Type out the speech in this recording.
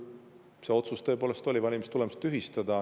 Rumeenia puhul tõepoolest oli otsus valimiste tulemused tühistada.